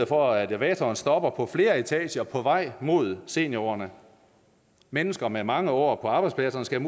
for at elevatoren stopper på flere etager på vej mod seniorårene mennesker med mange år på arbejdspladserne skal